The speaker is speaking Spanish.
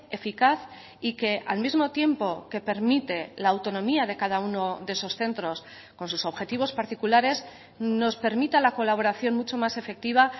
eficaz y que al mismo tiempo que permite la autonomía de cada uno de esos centros con sus objetivos particulares nos permita la colaboración mucho más efectiva